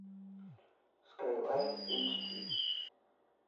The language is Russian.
скайлайн эйч ди